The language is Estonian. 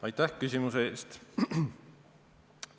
Aitäh küsimuse eest!